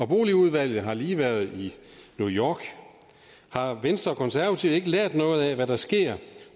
boligudvalget har lige været i new york har venstre og konservative ikke lært noget af hvad der sker